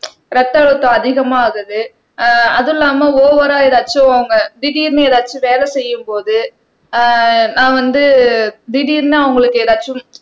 ரத்த அழுத்தம் அதிகமா ஆகுது ஆஹ் அதுவும் இல்லாம ஓவரா ஏதாச்சும் அவங்க திடீர்ன்னு எதாச்சும் வேலை செய்யும்போது ஆஹ் நான் வந்து திடீர்னு அவங்களுக்கு ஏதாச்சும்